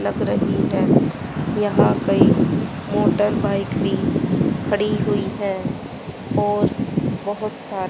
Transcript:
लग रही है यहां कई मोटरबाइक भी खड़ी हुई है और बहोत सा--